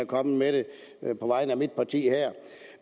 kommet med det på vegne af mit parti her